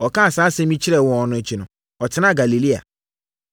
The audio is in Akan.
Ɔkaa saa asɛm yi kyerɛɛ wɔn akyi no, ɔtenaa Galilea.